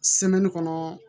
kɔnɔ